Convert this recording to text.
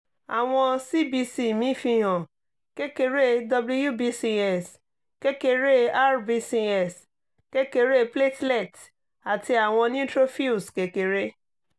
awọn cbc mi fihan kekere wbcs kekere rbcs kekere platelets ati awọn neutrophils kekere